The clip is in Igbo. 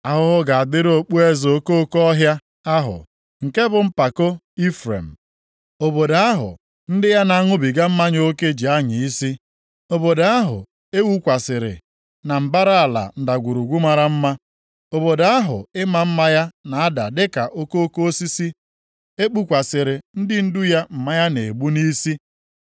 Ahụhụ ga-adịrị okpueze okoko + 28:1 Okpueze okoko nʼebe a, na-ekwu banyere obodo Sameria. ọhịa ahụ, nke bụ mpako Ifrem, obodo ahụ ndị ya na-aṅụbiga mmanya oke ji anya isi. Obodo ahụ e wukwasịrị na mbara ala ndagwurugwu mara mma. Obodo ahụ ịma mma ya na-ada dịka okoko osisi e kpukwasịrị ndị ndu ya mmanya na-egbu nʼisi.